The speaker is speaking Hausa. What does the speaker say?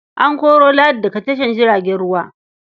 An koro Ladi daga tashar jiragen ruwa.